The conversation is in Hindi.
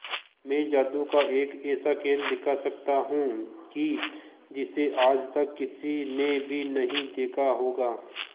मैं जादू का एक ऐसा खेल दिखा सकता हूं कि जिसे आज तक किसी ने भी नहीं देखा होगा